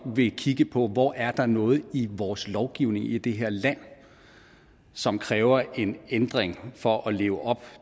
vil kigge på hvor der er noget i vores lovgivning i det her land som kræver en ændring for at leve op